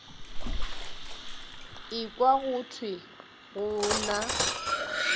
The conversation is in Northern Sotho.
ekwa go thwe go na